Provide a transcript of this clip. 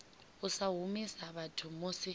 u sa humisa vhathu musi